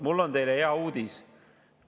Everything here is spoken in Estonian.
Mul on teile hea uudis.